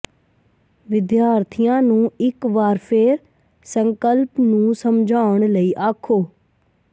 ਵਿਦਿਆਰਥੀਆਂ ਨੂੰ ਇੱਕ ਵਾਰ ਫਿਰ ਸੰਕਲਪ ਨੂੰ ਸਮਝਾਉਣ ਲਈ ਆਖੋ